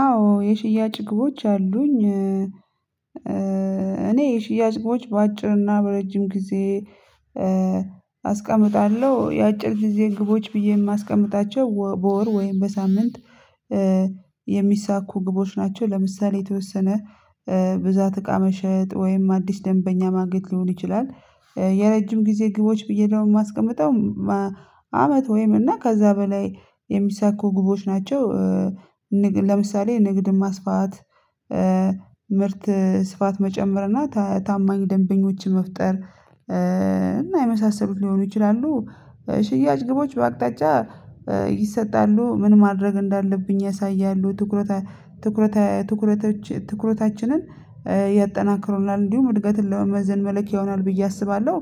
አዎ የሽያጭ ግቦች አሉኝ። እኔ የሽያጭ ግቦች በአጭር እና በረጅም ጊዜ አስቀምጣለሁ የአጭር ግዜ ግቦች ብዬ የማስቀምጣቸው ወ በወር ወይም በሳምንት የሚሳኩ ግቦች ናቸው ለምሳሌ የተወሰነ ብዛት እቃ መሸጥ ወይም አዲስ ደንበኛ ማግኘት ሊሆን ይችላል የረጅም ጊዜ ግቦች ብዬ ደግሞ የማስቀምጠው መ አመት ወይም እና ከዛ በላይ የሚሳኩ ግቦች ናቸው። ንግ ለምሳሌ ንግድ ማስፋት፣ ምርት ስፋት መጨመር እና ተ ታማኝ ደንበኞችን መፍጠር እና የመሳሰሉት ሊሆኑ ይችላሉ ሽያጭ ግቦች በአቅጣጫ ይሰጣሉ ምን ማድረግ እንዳለብኝ ያሳያሉ ትኩረታ ትኩረታ ትኩረታችንን ያጠናክሩናል እንዲሁም እድገትን ለመመዘን መለኪያ ይሆናል ብዬ አስባለሁ።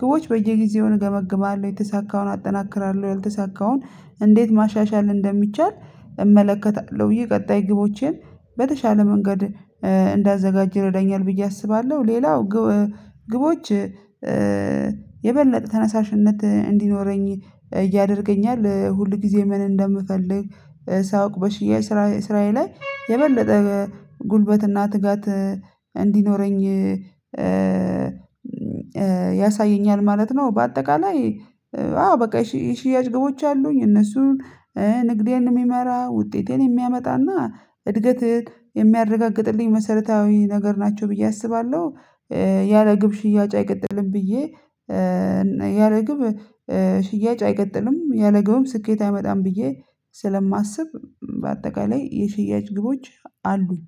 ግቦች በየጊዜው እገመግማለሁ የተሳካውን አጠናክራለሁ፣ ያልተሳካውን እንዴት ማሻሻል እንደሚቻል እመለከታለሁ ብዬ ቀጣይ ግቦቼን በተሻለ መንገድ እንዳዘጋጅ ይረዳኛል ብዬ አስባለሁ ሌላው ግ ግቦች የበለጠ ተነሳሽነት እንዲኖረኝ ያደርገኛል። ሁሉ ግዜ ምን እንደምፈልግ ሳውቅ በሽያጭ ስራዬ ስራዬ ላይ የበለጠ ጉልበት እና ትጋት እንዲኖረኝ ያሳየኛል ማለት ነው። በአጠቃላይ አዎ በቃ የሽ የሽያጭ ግቦች አሉኝ እነሱን ንግዴን የሚመራ ውጤቴን የሚያመጣና እድገት የሚያረጋግጥልኝ መሰረታዊ ነገር ናቸው ብዬ አስባለሁ ያለግብ ሽያጭ አይቀጥልም ብዬ ያለግብ ሽያጭ አይቀጥልም ያለግብም ስኬት አይመጣም ብዬ ስለማስብ በአጠቃላይ የሽያጭ ግቦች አሉኝ